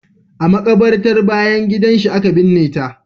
A makabartar bayan gidan shi aka binne ta.